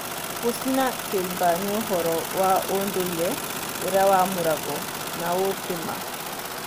Gũcina kĩimba nĩũhoro wa ũndũire ũrĩa wamũragwo na ũũ ti-maa.